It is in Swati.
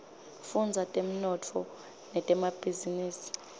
fudza temnotfo netemabhizinisa